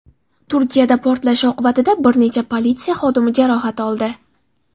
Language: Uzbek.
Turkiyada portlash oqibatida bir necha politsiya xodimi jarohat oldi.